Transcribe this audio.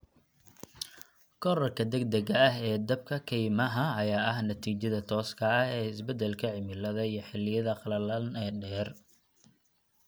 Korodhka degdega ah ee dabka kaymaha ayaa ah natiijada tooska ah ee isbedelka cimilada iyo xilliyada qalalan ee dheer.